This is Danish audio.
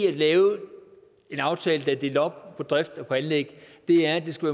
at lave en aftale der er delt op på drift og anlæg er at det skal